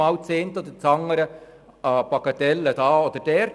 Die eine oder andere Bagatelle gibt es hier oder dort.